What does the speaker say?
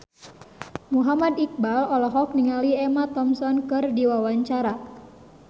Muhammad Iqbal olohok ningali Emma Thompson keur diwawancara